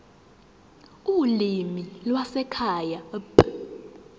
ulimi lwasekhaya p